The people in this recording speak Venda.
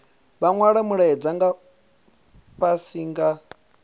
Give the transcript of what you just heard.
vha nwale mulaedza fhasi nga